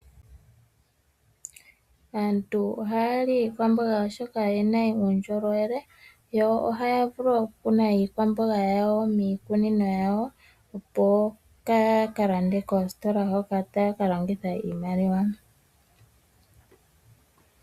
Aantu ohaya li iikwamboga oshoka oyina uundjolowele yo ohaya vulu okukuna iikwamboga yawo miikunino yawo opo opo kayakalande koositola hoka taya kalongitha iimaliwa.